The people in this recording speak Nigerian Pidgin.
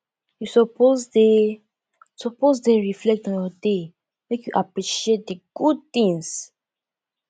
you suppose dey suppose dey reflect on your day make you appreciate di good things